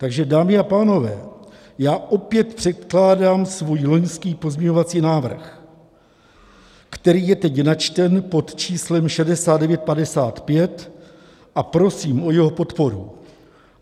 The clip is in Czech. Takže dámy a pánové, já opět předkládám svůj loňský pozměňovací návrh, který je teď načten pod číslem 6955, a prosím o jeho podporu.